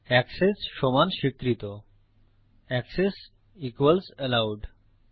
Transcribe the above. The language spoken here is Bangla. এক্সেস সমান স্বীকৃতঅ্যাকসেস ইকুয়ালস অ্যালোউড